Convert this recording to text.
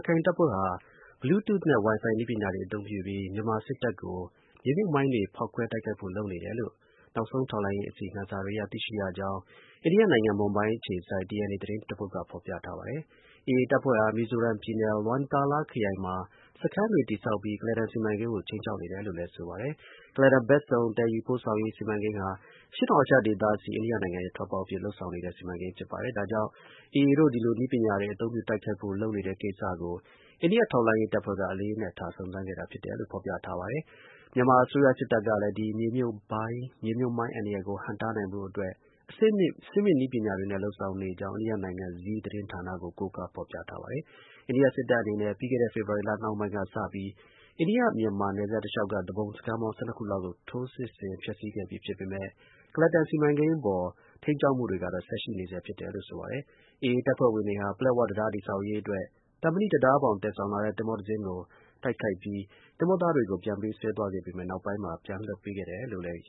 ခိုင်တပ်ဖွဲ့ဟာ Bluetooth နဲ့ Wi-Fi နည်းပညာတွေကို အသုံးပြုပြီး မြန်မာစစ်တပ်ကို မြေမြှုပ်မိုင်းတွေ ဖေါက်ခွဲတိုက်ခိုက်ဖို့ လုပ်နေတယ် လို့နောက်ဆုံး ထောက်လှမ်းရေး အစီရင်ခံစာတွေအရ သိရှိရကြောင်း အိန္ဒိယနိုင်ငံ မွန်ဘိုင်းမြို့အခြေစိုက် DNA သတင်းတပုဒ်က ဖေါ်ပြထား ပါတယ်။ AA တပ်ဖွဲ့ဟာ မီဇိုရမ်းပြည်နယ် LwangTaLa ခရိုင်မှာ စခန်းတွေ တည်ဆောက်ပြီး ကုလားတန်စီမံကိန်းကို ခြိမ်းခြောက်နေတယ်လို့လည်း ဆိုပါတယ်။ ကုလားတန်ဘက်စုံ သယ်ယူပို့ဆောင်ရေး စီမံကိန်းဟာ အရှေ့တောင်အာရှဒေသဆီ အိန္ဒိယနိုင်ငံရဲ့ ထွက်ပေါက်အဖြစ် လုပ်ဆောင်နေတဲ့ စီမံကိန်းဖြစ်ပါတယ်။ ဒါကြောင့် AA တို့ ဒီလိုနည်းပညာတွေ အသုံးပြုတိုက်ခိုက်ဖို့ လုပ်နေတဲ့ကိစ္စကို အိန္ဒိယထောက်လှမ်းရေး တပ်ဖွဲ့က အလေးနက်ထား စုံစမ်းခဲ့တာ ဖြစ်တယ်လို့ ဖေါ်ပြထားပါတယ်။ မြန်မာအစိုးရစစ်တပ်ကလည်း ဒီမြေမြှုပ်မိုင်း အန္တရာယ်ကို ဟန့်တားနိုင်ဖို့အတွက် အဆင့်မြင့် နည်းပညာတွေနဲ့ လုပ်ဆောင်နေကြောင်း အိန္ဒိယနိုင်ငံ Zee သတင်းဌာနကို ကိုးကားဖေါ်ပြထားပါတယ်။ အိန္ဒိယ စစ်တပ်အနေနဲ့ ပြီးခဲ့တဲ့ ဖေဖေါ်ဝါရီလ နှောင်းပိုင်းကစပြီး အိန္ဒိယ-မြန်မာ နယ်စပ်တလျှောက်က သူပုန်စခန်းပေါင်း (၁၂)ခုလောက်ကို ထိုးစစ်ဆင် ဖျက်ဆီးခဲ့ပြီ ဖြစ်ပေမယ့် ကုလားတန်စီမံကိန်း အပေါ် ထိန်းကျောင်းမှုတွေကတော့ ဆက်ရှိနေဆဲ ဖြစ်တယ်လို့ ဆိုပါတယ်။ AA တပ်ဖွဲ့ဝင်တွေဟာ ပလက်ဝတံတား တည်ဆောက်ရေးအတွက် သံမဏိတံတားဘောင် သယ်ဆောင်လာတဲ့ သင်္ဘောတစီးကို တိုက်ခိုက်ပြီး သင်္ဘောသားတွေကို ပြန်ပေးဆွဲသွား ခဲ့ပေမယ့် နောက်ပိုင်းမှာ ပြန်လွှတ်ပေးခဲ့တယ်လို့လည်း ရ